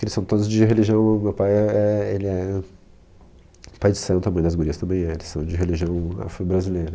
Eles são todos de religião, meu pai é é, ele é pai de santo, a mãe das gurias também é, eles são de religião afro-brasileira.